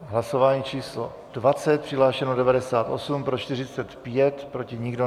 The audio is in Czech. Hlasování číslo 20. Přihlášeno 98, pro 45, proti nikdo.